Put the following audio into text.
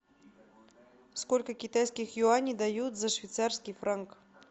сколько китайских юаней дают за швейцарский франк